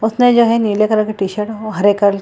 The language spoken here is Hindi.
उसने जो है नीले कलर का टी-शर्ट और हरे कलर --